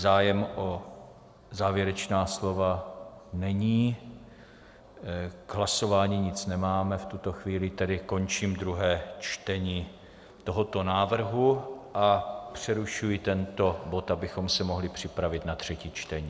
Zájem o závěrečná slova není, k hlasování nic nemáme v tuto chvíli, tedy končím druhé čtení tohoto návrhu a přerušuji tento bod, abychom se mohli připravit na třetí čtení.